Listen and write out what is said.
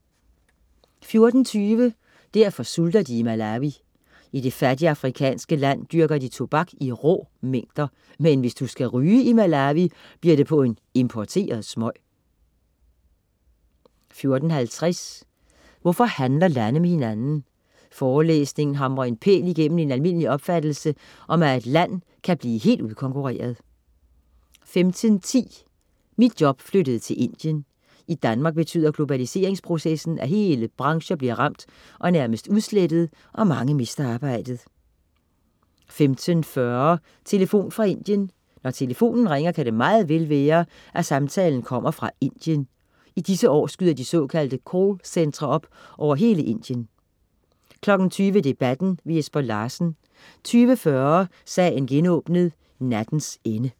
14.20 Derfor sulter de i Malawi. I det fattige afrikanske land dyrker de tobak i rå mængder. Men hvis du skal ryge i Malawi, bliver det på en importeret smøg 14.50 Hvorfor handler lande med hinanden? Forelæsningen hamrer en pæl igennem en almindelig opfattelse om, at et land kan blive helt udkonkurreret 15.10 Mit job flyttede til Indien. I Danmark betyder globaliseringsprocessen, at hele brancher bliver ramt og nærmest udslettet og mange mister arbejdet 15.40 Telefon fra Indien. Når telefonen ringer, kan det meget vel være at samtalen kommer fra Indien. I disse år skyder de såkaldte call centre op over hele Indien 20.00 Debatten. Jesper Larsen 20.40 Sagen genåbnet: Nattens ende